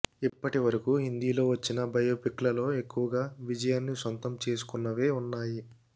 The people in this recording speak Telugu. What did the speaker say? ఇప్పటి వరకు హిందీలో వచ్చిన బయోపిక్లలో ఎక్కువగా విజయాన్ని సొంతం చేసుకున్నవే ఉన్నాయి